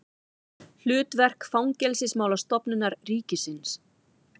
Hlutverk Fangelsismálastofnunar ríkisins.